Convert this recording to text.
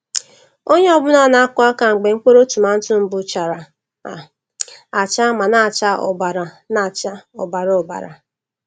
Onye ọ bụla na-akụ aka mgbe mkpụrụ tomato mbụ chara um acha ma na-acha ọbara na-acha ọbara ọbara.